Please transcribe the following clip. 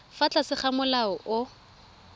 fa tlase ga molao o